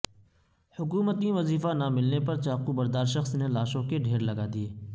حکومتی وظیفہ نہ ملنے پرچاقو بردار شخص نےلاشوں کے ڈھیرلگادئیے